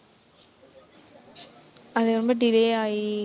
அது ரொம்ப delay ஆயி